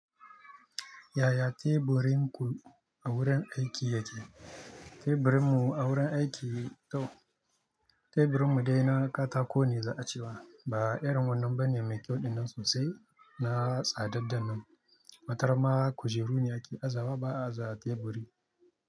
Yaya teburin ku a wurin aiki yake? Teburinmu a wurin aiki dai teburinmu dai na katako ne za a ce wa. Ba irin wannan ba ne mai kyauɗinnan sosai na tsadaddan nan. Wataran ma kujeru ne ake azawa ba a za teburi.